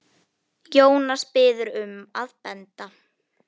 Jónas biður um að benda